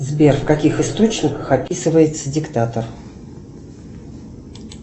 сбер в каких источниках описывается диктатор